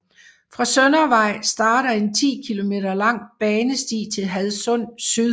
Fra Søndervej starter en 10 km lang banesti til Hadsund Syd